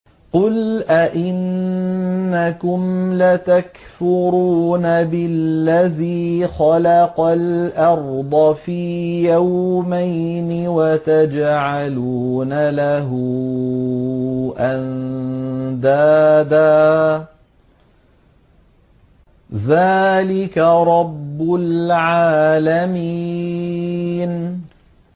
۞ قُلْ أَئِنَّكُمْ لَتَكْفُرُونَ بِالَّذِي خَلَقَ الْأَرْضَ فِي يَوْمَيْنِ وَتَجْعَلُونَ لَهُ أَندَادًا ۚ ذَٰلِكَ رَبُّ الْعَالَمِينَ